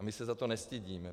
A my se za to nestydíme.